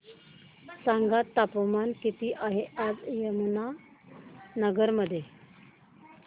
सांगा तापमान किती आहे आज यमुनानगर मध्ये